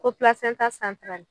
Ko pilasɛnta santarali